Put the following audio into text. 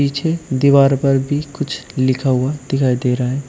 पीछे दीवार पर भी कुछ लिखा हुआ दिखाई दे रहा है।